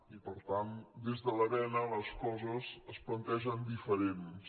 i per tant des de l’arena les coses es plantegen diferents